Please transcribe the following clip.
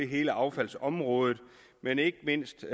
hele affaldsområdet men ikke mindst